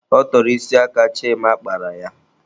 Ọ tọrọ isi aka Chima kpara ya.